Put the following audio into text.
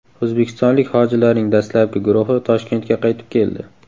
O‘zbekistonlik hojilarning dastlabki guruhi Toshkentga qaytib keldi.